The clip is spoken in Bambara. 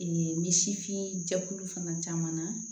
ni sifin jɛkulu fana caman na